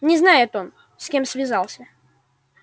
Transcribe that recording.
не знает он с кем связался